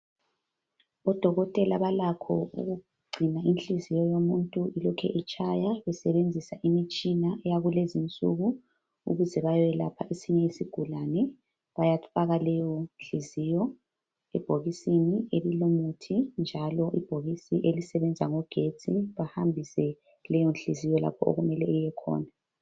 Odokotela balakho ukugcina inhliziyo yomuntu ilokhu itshaya besebenzisa imitshina yakulezinsuku ukuze bayelapha esinye isigulane. Bayafaka leyo nhlinziyo ebhokisini elilomuthi njalo ibhokisi elisebenza ngogetsi bahambise leyo nhlinziyo lapho okumele iyekhona.